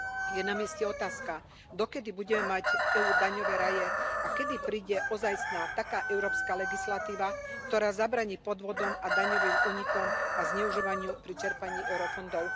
Je na mieste otázka, dokedy bude mať EÚ daňové raje a kedy príde ozajstná, taká európska legislatíva, ktorá zabráni podvodom a daňovým únikom a zneužívaniu pri čerpaní eurofondov.